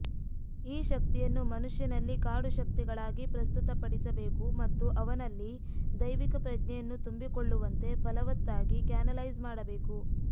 ಈ ಶಕ್ತಿಯನ್ನು ಮನುಷ್ಯನಲ್ಲಿ ಕಾಡು ಶಕ್ತಿಗಳಾಗಿ ಪ್ರಸ್ತುತಪಡಿಸಬೇಕು ಮತ್ತು ಅವನಲ್ಲಿ ದೈವಿಕ ಪ್ರಜ್ಞೆಯನ್ನು ತುಂಬಿಕೊಳ್ಳುವಂತೆ ಫಲವತ್ತಾಗಿ ಕ್ಯಾನಲೈಸ್ ಮಾಡಬೇಕು